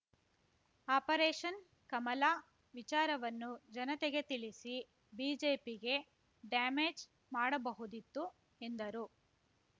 operation Kamala ವಿಚಾರವನ್ನು ಜನತೆಗೆ ತಿಳಿಸಿ ಬಿಜೆಪಿಗೆ ಡ್ಯಾಮೇಜ್‌ ಮಾಡಬಹುದಿತ್ತು ಎಂದರು